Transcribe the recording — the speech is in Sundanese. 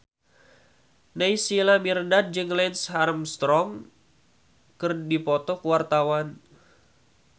Naysila Mirdad jeung Lance Armstrong keur dipoto ku wartawan